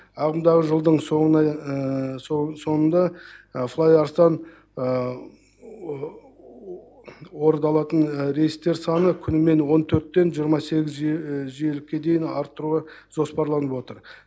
ағымдағы жылдың соңында флай арыстан орыдалатын рейстер саны күнімен он төрттен жиырма сегіз жиілікке дейін арттыруыға жоспарланып отыр